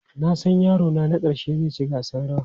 Na san yarona na ƙarshe zai ci gasar rawa.